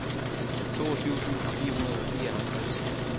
toogtyve tusind fire hundrede og fireoghalvtreds